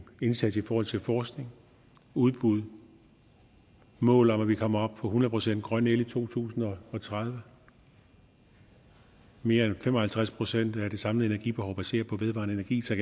indsats i forhold til forskning udbud mål om at vi kommer op på hundrede procent grøn el i to tusind og tredive mere end fem og halvtreds procent af det samlede energibehov baseret på vedvarende energi så